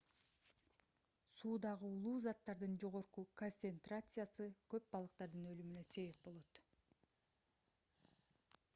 суудагы уулуу заттардын жогорку концентрациясы көп балыктардын өлүмүнө себеп болот